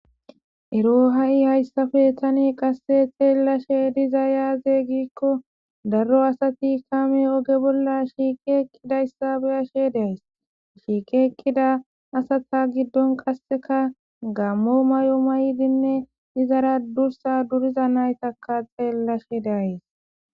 Ero ha'i hayssafe thani qasse xeellashe diza yaaze giikko darro asati kame oge bolla shiiqe eqqida yssabeyashe daays shiiqe eqqida asata giddon qasseka gammo may'o may'dinne izara dursa duriza naytaka xeellashe dayys.